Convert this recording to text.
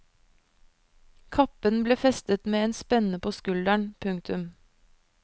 Kappen ble festet med en spenne på skulderen. punktum